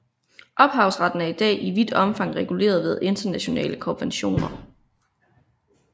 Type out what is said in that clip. Ophavsretten er i dag i vidt omfang reguleret ved internationale konventioner